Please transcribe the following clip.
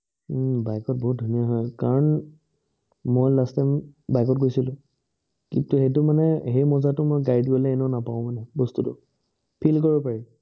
হম bike ত বহুত ধুনীয়া হয় কাৰণ, মই last time bike ত গৈছিলো। কিন্তু এইটো মানে সেই মজাটো মই গাড়ীত গলে এনেও নাপাওঁ মানে বস্তুটো। feel কৰিব পাৰি